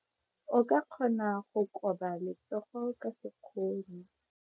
O ka kgona go koba letsogo ka sekgono.